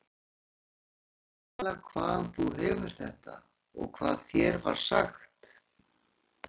Segðu mér nú nákvæmlega hvaðan þú hefur þetta og hvað þér var sagt.